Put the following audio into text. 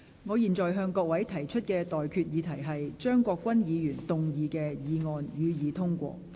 我現在向各位提出的待議議題是：張國鈞議員動議的議案，予以通過。